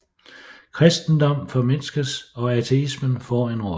Kristendommen formindskes og ateisme får en rolle